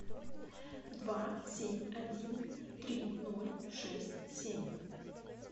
два семь один три ноль шесть семь